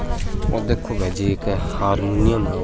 ओ देखो भाईजी एक हरमोनियम है ओ।